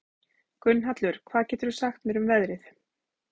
Gunnhallur, hvað geturðu sagt mér um veðrið?